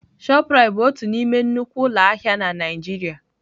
Shoprite bụ otu n'ime nnukwu ụlọ ahịa na Nigeria.